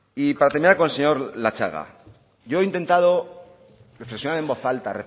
y para terminar con el señor latxaga yo he intentado reflexionar en voz alta